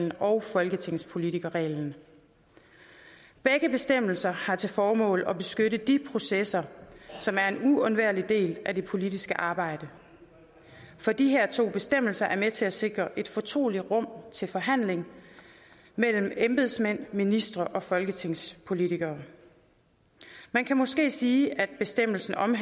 og folketingspolitikerreglen begge bestemmelser har til formål at beskytte de processer som er en uundværlig del af det politiske arbejde for disse to bestemmelser er med til at sikre et fortroligt rum til forhandling mellem embedsmænd ministre og folketingspolitikere man kan måske sige at bestemmelserne